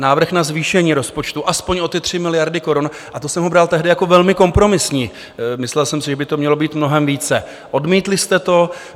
Návrh na zvýšení rozpočtu alespoň o ty 3 miliardy korun - a to jsem ho bral tehdy jako velmi kompromisní, myslel jsem si, že by to mělo být mnohem více - odmítli jste to.